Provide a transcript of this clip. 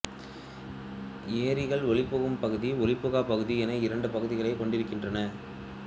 ஏரிகள் ஒளிபுகும் பகுதி ஒளிபுகாப் பகுதி என இரண்டு பகுதிகளைக் கொண்டிருக்கின்றன